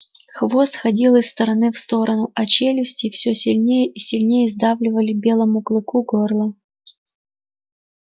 хвост ходил из стороны в сторону а челюсти всё сильнее и сильнее сдавливали белому клыку горло